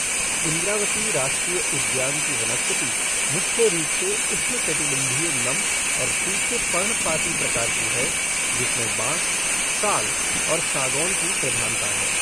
इंद्रावती राष्ट्रीय उद्यान की वनस्पति मुख्य रूप से उष्णकटिबंधीय नम और सूखे पर्णपाती प्रकार की है जिसमें बांस, साल और सागौन की प्रधानता है।